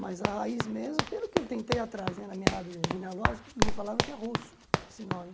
Mas a raiz mesmo, pelo que eu tentei atrás, na minha árvore genealógica, me falaram que é russo esse nome.